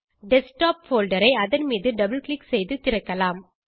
desktop folder ஐ அதன் மீது டபுள் க்ளிக் செய்து திறக்கலாம்